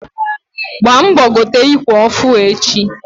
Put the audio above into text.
Gbaa mbọ gote ikwe ọfụ echi!